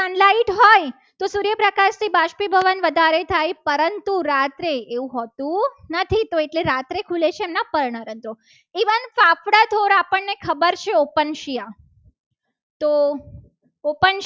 બાષ્પીભવન વધારે થાય. પરંતુ રાત્રે એવું હોતું નથી. તો એ કહે છે રાત્રે ખુલે છે. ને પણ રંધ્રો even પાપડાં ધોળ આપણને ખબર છે. opensia તો